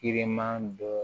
Ire ma dɔ